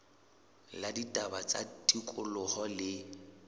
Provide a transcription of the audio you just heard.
la ditaba tsa tikoloho le